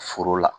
Foro la